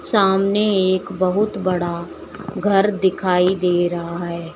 सामने एक बहुत बड़ा घर दिखाई दे रहा है।